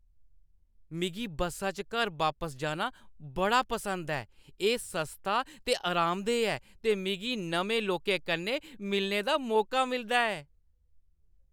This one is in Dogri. मिगी बस्सा च घर बापस जाना बड़ा पसंद ऐ। एह् सस्ता ते आरामदेह ऐ ते मिगी नमें लोकें कन्नै मिलने दा मौका मिलदा ऐ।